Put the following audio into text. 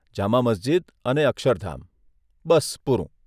જામા મસ્જીદ અને અક્ષરધામ, બસ પૂરું.